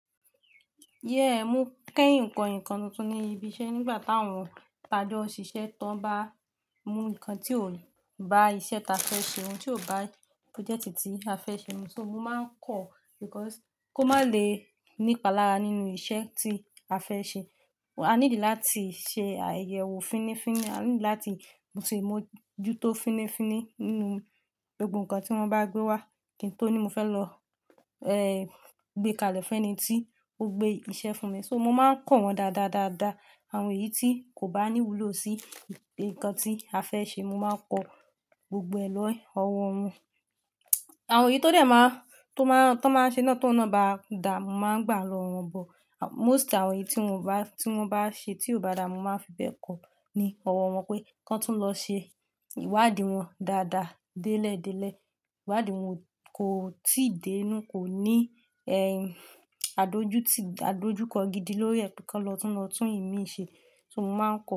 Yẹ́, mo kẹ́hin kọ́ ǹkan tuntun ní ibi iṣẹ́ nígbà táwọn ti ajọ́ n ṣìṣẹ́ tán bá mú ǹkan tí ò bá iṣẹ́ ta fẹ́ ṣe, ohun tí ò bá project tí a fẹ́ ṣe mu. So mo máa ń kọ̀ because kó má lè ní palára nínú iṣẹ́ tí a fẹ́ ṣe. A need láti ṣe àyẹ̀wò fínífíní, a need láti mo sì mojú tó fínífíní nínú gbogbo ǹkan tí wọ́n bá gbé wá. Kí n tó ní mo fẹ́ lọ, eh, gbé kalẹ̀ fún ẹni tí ó gbé iṣẹ́ fún mi. So mo máa ń kọ̀ wọ́n dáadáa, dáadáa. Àwọn èyí tí kò bá ní wúlò sí ǹkan tí a fẹ́ ṣe, mo máa ń kọ̀ gbogbo ẹ̀ lọ́ ẹ̀ ọwọ́ wọn. Àwọn èyí tó dè máa, tó máa n, tan máa n ṣe ná tòun ná bá da, mo máa ń gbà lọ́ wọ́n but. Most àwọn èyí tí wọ́n o bá, tí wọ́n bá ṣe tí ò bá da, mo máa ń fi bẹ́ẹ̀ kọ̀ ní ọwọ́ wọn pé kí wọ́n tún lọ ṣe ìwádìí wọn dáadáa délẹ̀dẹ́lẹ̀. Ìwádìí wọn kò tíì dé inú, kò ní, ẹ́hìn, àdojúti, àdojúkọ gidi lórí ẹ pé kí wọ́n tún lọ tún ìmí ṣe. So mo máa ń kọ̀